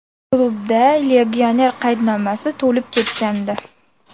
Klubda legioner qaydnomasi to‘lib ketgandi.